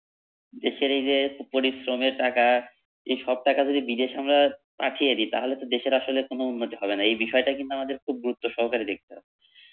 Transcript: দেশের এই যে পরিশ্রমের টাকা এ সব টাকা যদি বিদেশ আমরা পাঠিয়ে দি তাহলে তো দেশের আসলে কোনো উন্নতি হবে না এই বিষয়টা কিন্তু আমাদের খুব গুরুত্ব সহকারে দেখতে হবে।